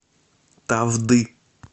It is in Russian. тавды